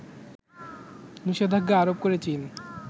নিষেধাজ্ঞা আরোপ করে চীন